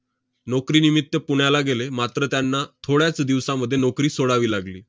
नोकरीनिमित्त पुण्याला गेले, मात्र त्यांना थोड्याच दिवसामध्ये नोकरी सोडावी लागली.